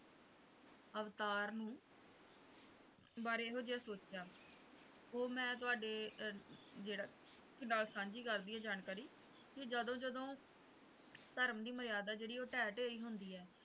ਅਵਤਾਰ ਨੂੰ ਬਾਰੇ ਇਹੋ ਜਿਹਾ ਸੋਚਿਆ ਉਹ ਮੈਂ ਤੁਹਾਡੇ ਜਿਹੜਾ ਨਾਲ ਸਾਂਝੀ ਕਰਦੀ ਹਾਂ ਜਾਣਕਾਰੀ ਕਿ ਜਦੋਂ ਜਦੋਂ ਧਰਮ ਦੀ ਮਰਿਆਦਾ ਜਿਹੜੀ ਹੈ ਢਹਿ ਢੇਰੀ ਹੁੰਦੀ ਹੈ